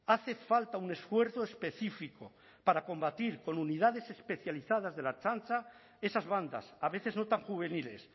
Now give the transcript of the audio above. hace falta un esfuerzo específico para combatir con unidades especializadas de la ertzaintza esas bandas a veces no tan juveniles